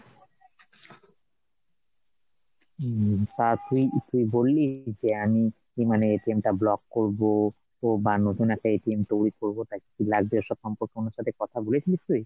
হম তা তুই তুই বললি যে আমি মানে টা block করবো বা নতুন একটা তৈরী করবো তাই কি লাগবে এসব সম্পর্কে ওনার সাথে কথা বলেছিলিস তুই ?